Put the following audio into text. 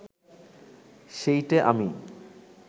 সেইটে আমি